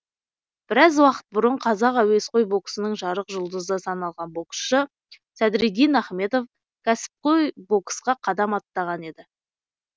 біраз уақыт бұрын қазақ әуесқой боксының жарық жұлдызы саналған боксшы садриддин ахметов кәсіпқой боксқа қадам аттаған еді